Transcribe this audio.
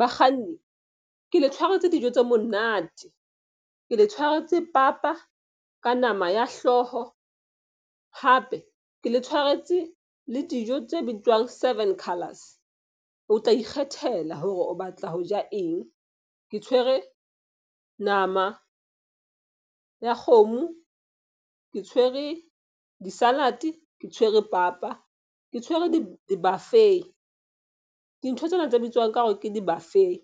Bakganni ke le tshwaretse dijo tse monate. Ke le tshwaretse papa ka nama ya hlooho, hape ke le tshwaretse le dijo tse bitswang seven colors. O tla ikgethela hore o batla ho ja eng. Ke tshwere nama ya kgomo, ke tshwere di-salad-e ke tshwere papa, ke tshwere di-buffet. Dintho tsena tse bitswang ka hore ke di-buffet